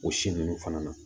O si nunnu fana na